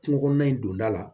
Kungo kɔnɔna in donda la